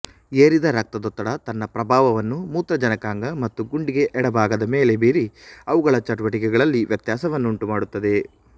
ಏರಿದ ರಕ್ತದೊತ್ತಡ ತನ್ನ ಪ್ರಭಾವವನ್ನು ಮೂತ್ರಜನಕಾಂಗ ಮತ್ತು ಗುಂಡಿಗೆಯ ಎಡಭಾಗದ ಮೇಲೆ ಬೀರಿ ಅವುಗಳ ಚಟುವಟಿಕೆಗಳಲ್ಲಿ ವ್ಯತ್ಯಾಸವನ್ನು ಉಂಟುಮಾಡುತ್ತದೆ